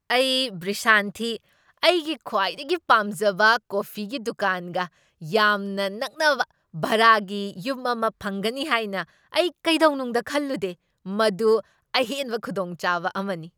ꯑꯩ ꯕꯤꯁ꯭ꯔꯥꯟꯊꯤ, ꯑꯩꯒꯤ ꯈ꯭ꯋꯥꯏꯗꯒꯤ ꯄꯥꯝꯖꯕ ꯀꯣꯐꯤꯒꯤ ꯗꯨꯀꯥꯟꯒ ꯌꯥꯝꯅ ꯅꯛꯅꯕ ꯚꯥꯔꯥꯒꯤ ꯌꯨꯝ ꯑꯃ ꯐꯪꯒꯅꯤ ꯍꯥꯏꯅ ꯑꯩ ꯀꯩꯗꯧꯅꯨꯡꯗ ꯈꯜꯂꯨꯗꯦ꯫ ꯃꯗꯨ ꯑꯍꯦꯟꯕ ꯈꯨꯗꯣꯡꯆꯥꯕ ꯑꯃꯅꯤ!